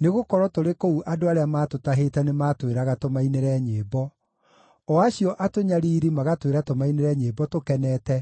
nĩgũkorwo tũrĩ kũu andũ arĩa maatũtahĩte nĩmatwĩraga tũmainĩre nyĩmbo, o acio atũnyariiri magatwĩra tũmainĩre nyĩmbo tũkenete,